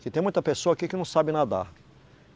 Porque tem muita pessoa aqui que não sabe nadar.